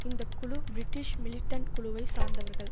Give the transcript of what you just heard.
இந்த குழு British militant குழுவை சார்ந்தவர்கள்